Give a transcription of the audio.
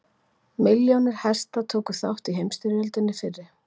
milljónir hesta tóku þátt í heimsstyrjöldinni fyrri